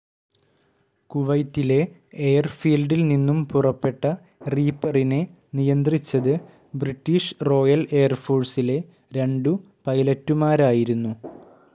കുവൈറ്റിലെ എയർഫീൽഡിൽ നിന്നും പുറപ്പെട്ട റീപ്പറിനെ നിയന്ത്രിച്ചത് ബ്രിട്ടീഷ് റോയൽ എയർഫോഴ്സിലെ രണ്ടു പൈലറ്റുമാരായിരുന്നു.